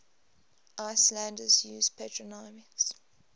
icelanders use patronymics